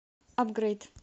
апгрейд